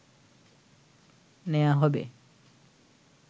নেয়া হবে